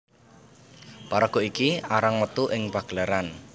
Paraga iki arang metu ing pagelaran